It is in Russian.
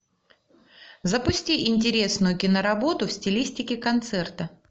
запусти интересную киноработу в стилистике концерта